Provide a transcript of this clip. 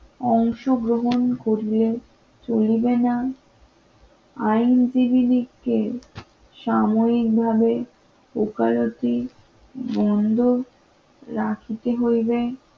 অংশগ্রহণ করলে চলবে না আইনজীবিনিকে সাময়িকভাবে ওকালতি বন্ধ রাখিতে হইবে